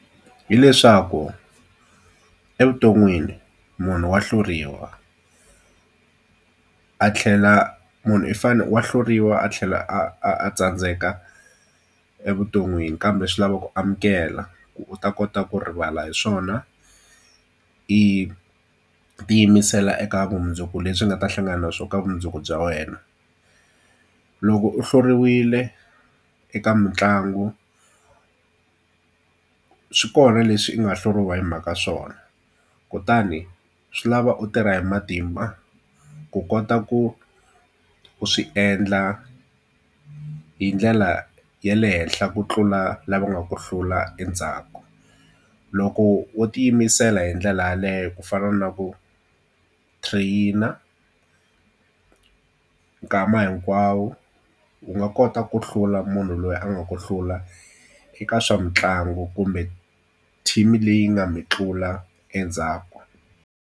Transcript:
Hi leswaku evuton'wini munhu wa hluriwa, a tlhela munhu i wa hluriwa a tlhela a a a tsandzeka evuton'wini kambe swi lava ku amukela. Ku u ta kota ku rivala hi swona i tiyimisela eka vumundzuku lebyi nga ta hlangana na swona ka vumundzuku bya wena. Loko u hluriwile eka mitlangu swi kona leswi u nga hluriwa hi mhaka swona, kutani swi lava u tirha hi matimba ku kota ku u swi endla hi ndlela ya le henhla ku tlula lava nga ku hlula endzhaku. Loko wo tiyimisela hi ndlela yaleyo ku fana na ku train-a nkama hinkwawo, u nga kota ku hlula munhu loyi a nga ku hlula eka swa mitlangu kumbe team-i leyi nga mi tlula endzhaku.